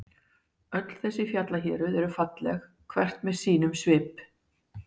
Öll þessi fjallahéruð eru falleg, hvert með sínum svip.